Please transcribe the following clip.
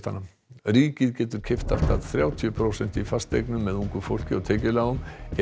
ríkið getur keypt allt að þrjátíu prósent í fasteignum með ungu fólki og tekjulágum ef